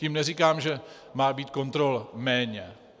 Tím neříkám, že má být kontrol méně.